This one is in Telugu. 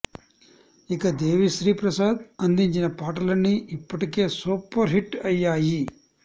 ఇక దేవిశ్రీ ప్రసాద్ అందించిన పాటలన్నీ ఇప్పటికే సూపర్ హిట్ అయ్యాయి